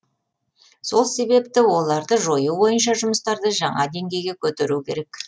сол себепті оларды жою бойынша жұмыстарды жаңа деңгейге көтеру керек